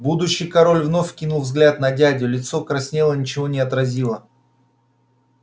будущий король вновь кинул взгляд на дядю лицо краснело ничего не отразило